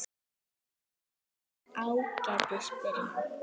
Af Ágætis byrjun